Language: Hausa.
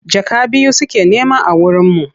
Jaka biyu suke nema a wurinmu.